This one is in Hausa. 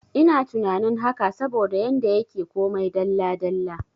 Ina tunanin haka saboda yanda yake komai dalla dalla